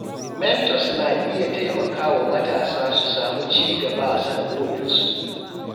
Mentors na iya taimakawa matasa su samu cigaba a sana’o’insu.